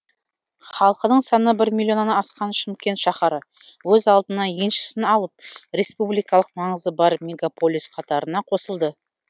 халқының саны бір миллионнан асқан шымкент шаһары өз алдына еншісін алып республикалық маңызы бар мегаполис қатарына қосылды